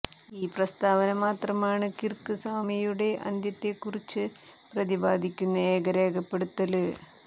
ഈ പ്രസ്താവന മാത്രമാണ് കിര്ക്ക് സ്വാമിയുടെ അന്ത്യത്തെക്കുറിച്ച് പ്രതിപാദിക്കുന്ന ഏക രേഖപ്പെടുത്തല്